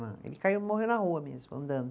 Ele caiu, morreu na rua mesmo, andando.